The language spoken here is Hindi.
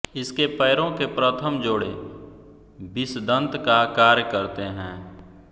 इसके पैरों के प्रथम जोड़े विषदंत का कार्य करते हैं